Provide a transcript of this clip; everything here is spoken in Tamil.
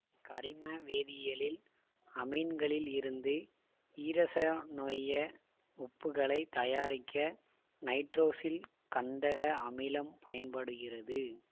கரிம வேதியியலில் அமீன்களில் இருந்து ஈரசனோய உப்புகளை தயாரிக்க நைட்ரோசில்கந்தக அமிலம் பயன்படுகிறது